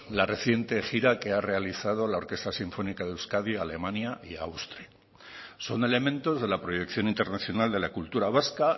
la reciente gira que ha realizado la orquesta sinfónica de euskadi a alemania y austria son elementos de la proyección internacional de la cultura vasca